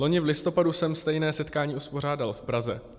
Loni v listopadu jsem stejné setkání uspořádal v Praze.